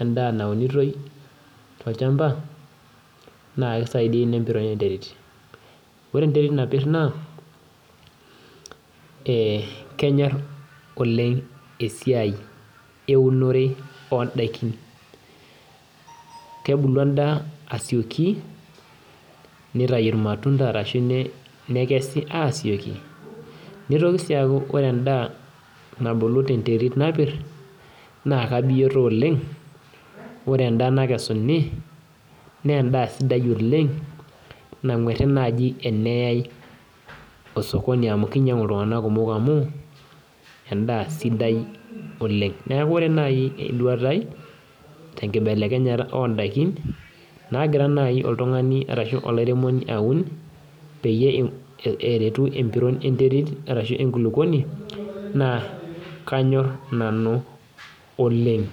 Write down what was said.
endaa naunitoi tolchamba, naa kisaidia ina empiron enterit. Ore enterit napir naa, eh kenyor oleng esiai eunore odaikin. Kebulu endaa asioki, nitayu irmatunda arashu nekesi asioki, nitoki si aku ore endaa nabulu tenterit napir, na kabioto oleng, ore endaa nakesuni, nendaa sidai oleng, nang'uerri nai eneyai osokoni amu kinyang'u iltung'anak kumok amu, endaa sidai oleng. Neeku ore nai eduata ai, tenkibelekenyata odaikin, nagira nai oltung'ani arashu olairemoni aun, peyie eretu empiron enterit arashu enkulukuoni, naa kanyor nanu oleng.